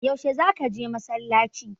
Yaushe za ka je masallaci?